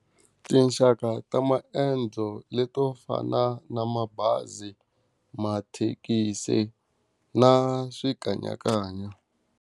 Tinxaka ta maendzo leti to fana na mabazi, mathekisi na swikanyakanya.